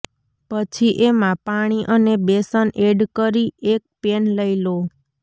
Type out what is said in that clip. પછી એમાં પાણી અને બેસન એડ કરી એક પેન લઇ લો